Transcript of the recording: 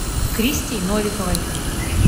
кристей новиковой